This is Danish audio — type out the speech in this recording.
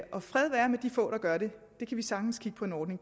og fred være med de få der gør det det kan vi sagtens kigge på en ordning